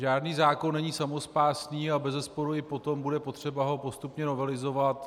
Žádný zákon není samospásný a bezesporu i potom bude potřeba ho postupně novelizovat.